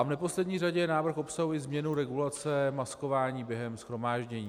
A v neposlední řadě návrh obsahuje změnu regulace maskování během shromáždění.